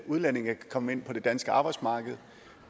udlændinge kan komme ind på det danske arbejdsmarked